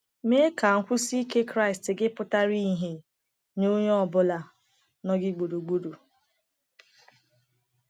Mee ka nkwụsi ike Kraịst gị pụtara ìhè nye onye ọ bụla nọ gị gburugburu.